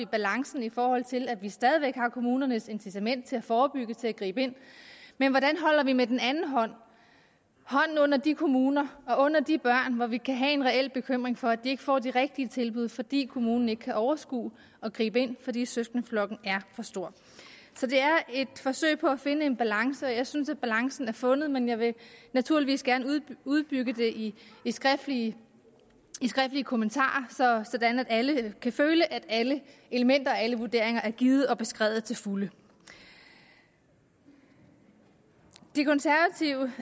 balancen i forhold til at vi stadig væk har kommunernes incitament til at forebygge og til at gribe ind men hvordan holder vi med den anden hånd hånden under de kommuner og under de børn som vi kan have en reel bekymring for ikke får de rigtige tilbud fordi kommunen ikke kan overskue at gribe ind fordi søskendeflokken er for stor så det er et forsøg på at finde en balance og jeg synes at balancen er fundet men jeg vil naturligvis gerne uddybe det i skriftlige kommentarer sådan at alle kan føle at alle elementer og alle vurderinger er givet og beskrevet til fulde de konservative